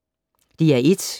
DR1